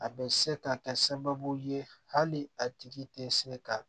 A bɛ se ka kɛ sababu ye hali a tigi tɛ se ka